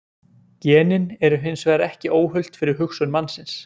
Genin eru hins vegar ekki óhult fyrir hugsun mannsins.